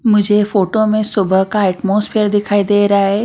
मुझे फोटो में सुबह का एटमॉस्फियर दिखाई दे रहा है।